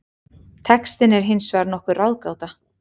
Textinn er hins vegar nokkur ráðgáta.